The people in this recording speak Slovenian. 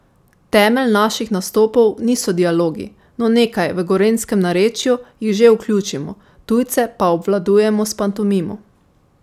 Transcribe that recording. Temelj naših nastopov niso dialogi, no nekaj, v gorenjskem narečju, jih že vključimo, tujce pa obvladujemo s pantomimo.